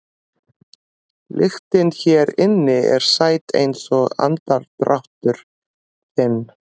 Lyktin hér inni er sæt einsog andardráttur þinn.